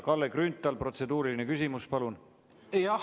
Kalle Grünthal, protseduuriline küsimus, palun!